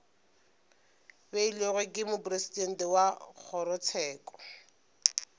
beilwego ke mopresidente wa kgorotsheko